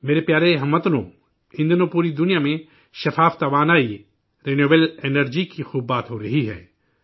میرے پیارے ہم وطنو، ان دنوں پوری دنیا میں صاف توانائی، قابل تجدید توانائی کی خوب بات ہو رہی ہے